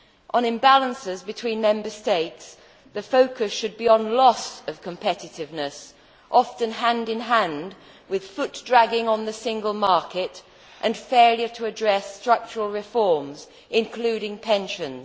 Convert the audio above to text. On imbalances between Member States, the focus should be on loss of competitiveness, often hand in hand with foot dragging on the single market and failure to address structural reforms, including pensions.